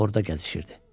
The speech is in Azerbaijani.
Orda gəzişirdi.